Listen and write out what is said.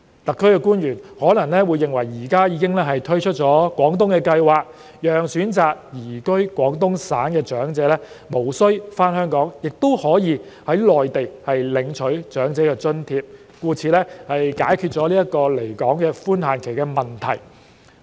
特區官員可能會認為現已推出廣東計劃，讓選擇移居廣東省的長者無須返港，也可以在內地領取長者津貼，解決了離港寬限期的問題。